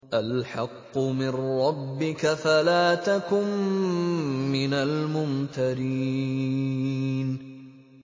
الْحَقُّ مِن رَّبِّكَ فَلَا تَكُن مِّنَ الْمُمْتَرِينَ